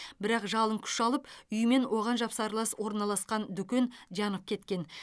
бірақ жалын күш алып үй мен оған жапсарлас орналасқан дүкен жанып кеткен